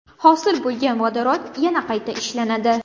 Hosil bo‘lgan vodorod yana qayta ishlanadi.